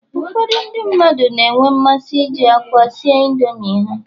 Ụfọdụ ndị mmadụ na-enwe mmasị iji akwa si Indomi ha